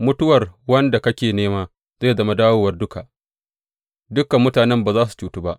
Mutuwar wanda kake nema zai zama dawowar duka; dukan mutanen ba za su cutu ba.